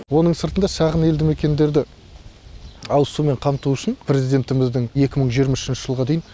оның сыртында шағын елді мекендерді ауызсумен қамту үшін президентіміздің екі мың жиырма үшінші жылға дейін